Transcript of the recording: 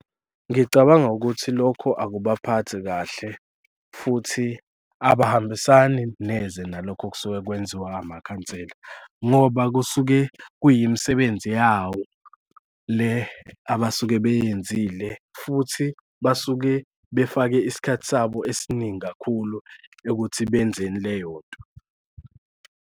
Ngicabanga ukuthi lokho akubaphathi kahle futhi abahambisani neze nalokho okusuke kwenziwa amakhansela. Ngoba kusuke kuyimisebenzi yawo le abasuke beyenzile futhi basuke befake isikhathi sabo esiningi kakhulu ukuthi benzeni leyo nto.